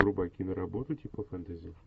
врубай киноработу типа фэнтези